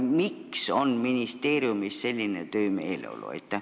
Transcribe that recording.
Miks on ministeeriumis selline töömeeleolu?